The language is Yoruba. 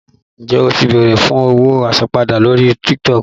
Ǹjẹ́ o ti bèrè fún owó àsanpadà rí lórí TikTok?